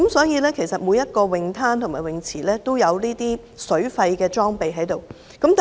因此，每個泳灘及泳池也設有水肺潛水裝備。